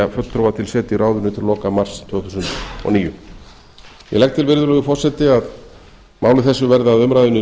fulltrúa til setu í ráðinu til loka mars tvö þúsund og níu ég legg til virðulegur forseti að máli þessu verði að umræðunni